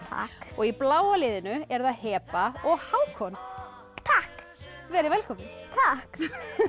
takk og í bláa liðinu eru það Heba og Hákon takk verið velkomin takk